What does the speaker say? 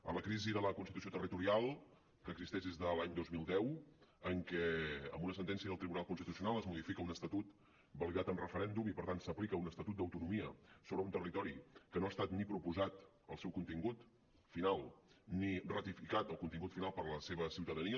a la crisi de la constitució territorial que existeix des de l’any dos mil deu en què amb una sentència del tribunal constitucional es modifica un estatut validat en referèndum i per tant s’aplica un estatut d’autonomia sobre un territori que no ha estat ni proposat el seu contingut final ni ratificat el contingut final per la seva ciutadania